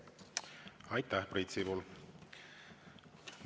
Aitäh, Priit Sibul!